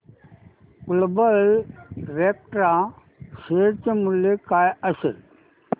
global Vectra share चे मूल्य काय असेल